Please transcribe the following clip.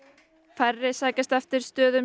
færri sækjast eftir stöðum